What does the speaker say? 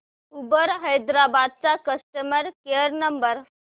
Uber Hyderabad चा customer care number